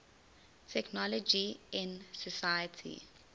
technology in society